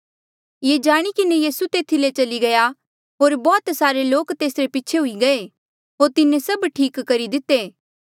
ये जाणी किन्हें यीसू तेथी ले चली गया होर बौह्त सारे लोक तेसरे पीछे हुई गये होर तिन्हें सभ ठीक करी दिते